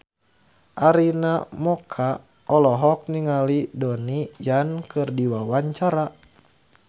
Arina Mocca olohok ningali Donnie Yan keur diwawancara